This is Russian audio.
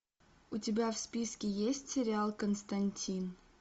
у тебя в списке есть сериал константин